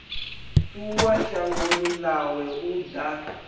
ṱuwa shangoni ḽawe u ḓa